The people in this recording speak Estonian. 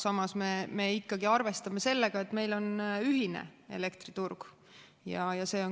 Samas me ikkagi arvestame sellega, et meil on ühine elektriturg.